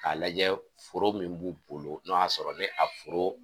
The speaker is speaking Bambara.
K'a lajɛ foro min b'u bolo n'o y'a sɔrɔ ne a foro